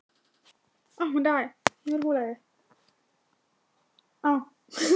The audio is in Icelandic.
Mamma varð alltaf svo undarleg og hrygg á svipinn.